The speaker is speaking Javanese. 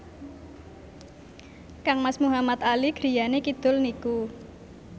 kangmas Muhamad Ali griyane kidul niku